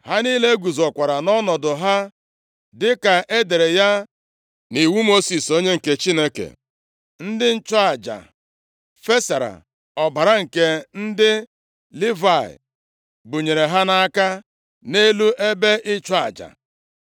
Ha niile guzokwara nʼọnọdụ ha dịka e dere ya nʼiwu Mosis, onye nke Chineke. Ndị nchụaja fesara ọbara nke ndị Livayị bunyere ha nʼaka, nʼelu ebe ịchụ aja.